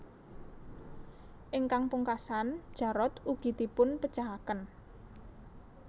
Ingkang pungkasan Jarot ugi dipun pejahaken